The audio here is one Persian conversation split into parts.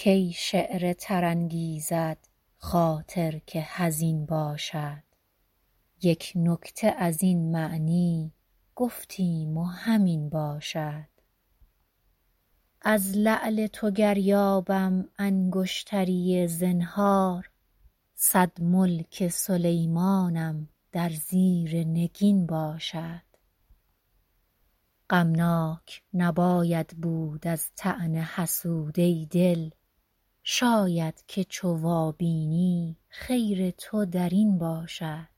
کی شعر تر انگیزد خاطر که حزین باشد یک نکته از این معنی گفتیم و همین باشد از لعل تو گر یابم انگشتری زنهار صد ملک سلیمانم در زیر نگین باشد غمناک نباید بود از طعن حسود ای دل شاید که چو وابینی خیر تو در این باشد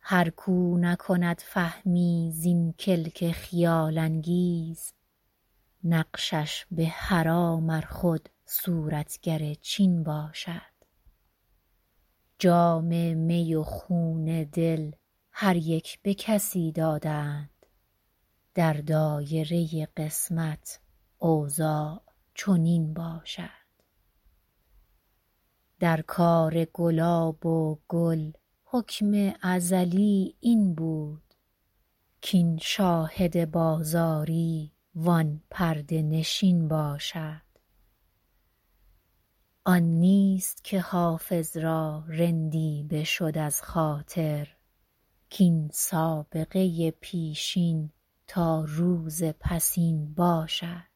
هر کاو نکند فهمی زین کلک خیال انگیز نقشش به حرام ار خود صورتگر چین باشد جام می و خون دل هر یک به کسی دادند در دایره قسمت اوضاع چنین باشد در کار گلاب و گل حکم ازلی این بود کاین شاهد بازاری وان پرده نشین باشد آن نیست که حافظ را رندی بشد از خاطر کاین سابقه پیشین تا روز پسین باشد